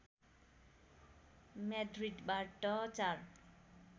म्याड्रिडबाट चार